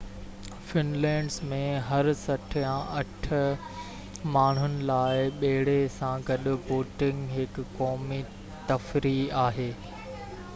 Finland ۾ هر سٽ يا اٺ ماڻهن لاءِ ٻيڙي سان گڏ بوٽنگ هڪ قومي تفريح آهي